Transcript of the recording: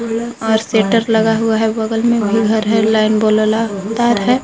और शेटर लगा हुआ है बगल में भी घर है लाइन बोला तार है।